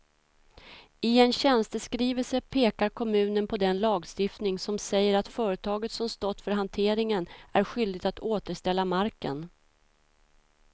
I en tjänsteskrivelse pekar kommunen på den lagstiftning som säger att företaget som stått för hanteringen är skyldigt att återställa marken.